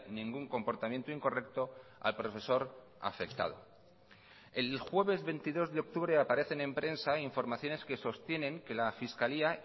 ningún comportamiento incorrecto al profesor afectado el jueves veintidós de octubre aparecen en prensa informaciones que sostienen que la fiscalía